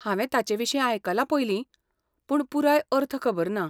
हांवें ताचे विशीं आयकलां पयलीं, पूण पुराय अर्थ खबर ना.